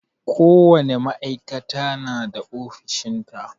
Ko wane ma'aikata na da ofishin ta.